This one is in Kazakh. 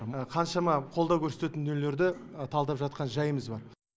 мына қаншама қолдау көрсететін дүниелерді талдап жатқан жайымыз бар